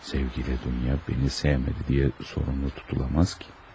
Sevgili Dunya məni sevmədi deyə sorumlu tutulmaz ki.